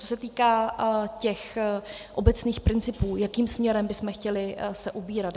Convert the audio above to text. Co se týká těch obecných principů, jakým směrem bychom se chtěli ubírat.